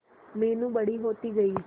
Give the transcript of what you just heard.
मीनू बड़ी होती गई